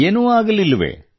ಏನೂ ಆಗಲಿಲ್ಲವೆ